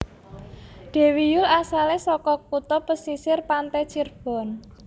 Dewi Yull asalé saka kutha pesisir pante Cirebon